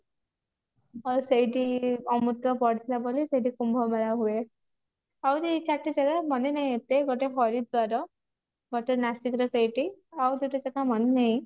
ଆଉ ସେଇଠି ଅମୃତ ପଡିଥିଲା ବୋଲି ସେଇଠି କୁମ୍ଭ ମେଳା ହୁଏ ଆହୁରି ଚାରିଟା ଜାଗା ମନେ ନାହିଁ ଏତେ ଗୋଟେ ହରିଦ୍ବାର ଗୋଟେ ନାସିକ ର ସେଇଠି ଆଉ ଦୁଇଟା ମନେ ନାହିଁ